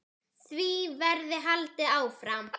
Því verði haldið áfram.